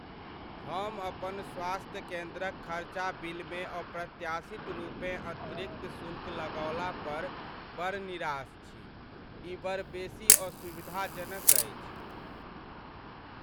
हम अपन स्वास्थ्य केन्द्रक खर्चा बिलमे अप्रत्याशित रूपेँ अतिरिक्त शुल्क लगौला पर बड़ निराश छी, ई बड़ बेसी असुविधाजनक अछि।